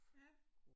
Ja